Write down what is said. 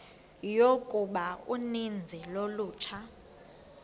yokuba uninzi lolutsha